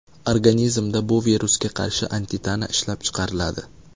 Organizmda bu virusga qarshi antitana ishlab chiqariladi.